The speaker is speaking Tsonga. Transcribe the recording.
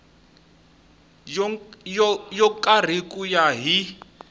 yo karhi ku ya hi